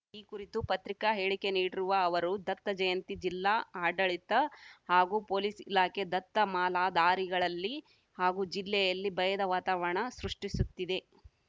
ಈ ಕುರಿತು ಪತ್ರಿಕಾ ಹೇಳಿಕೆ ನೀಡಿರುವ ಅವರು ದತ್ತಜಯಂತಿ ವೇಳೆ ಜಿಲ್ಲಾಡಳಿತ ಹಾಗೂ ಪೊಲೀಸ್‌ ಇಲಾಖೆ ದತ್ತಮಾಲಾಧಾರಿಗಳಲ್ಲಿ ಹಾಗೂ ಜಿಲ್ಲೆಯಲ್ಲಿ ಭಯದ ವಾತಾವರಣ ಸೃಷ್ಟಿಸುತ್ತಿದೆ